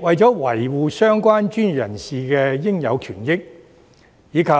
為了維護相關專業人士的應有權益，以及